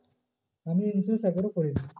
আমি insurance একবার করিনি।